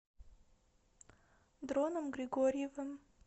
дроном григорьевым